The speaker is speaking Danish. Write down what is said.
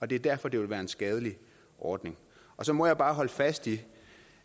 det er derfor det vil være en skadelig ordning så må jeg bare holde fast i